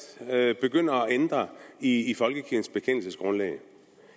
begynder at ændre i folkekirkens bekendelsesgrundlag